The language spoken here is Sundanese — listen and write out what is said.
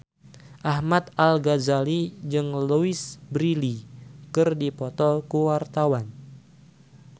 Ahmad Al-Ghazali jeung Louise Brealey keur dipoto ku wartawan